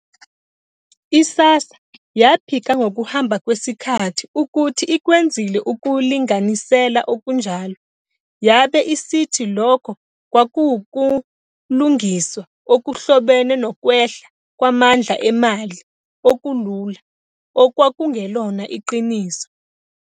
I-SASSA yaphika ngokuhamba kwesikhathi ukuthi ikwenzile ukulinganisela okunjalo, yabe isithi lokho kwakuwukulungiswa okuhlobene nokwehla kwamandla emali okulula, okwakungelona iqiniso.